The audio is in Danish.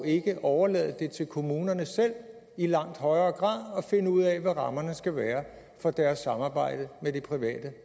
ikke overlade til kommunerne selv i langt højere grad at finde ud af hvad rammerne skal være for deres samarbejde med det private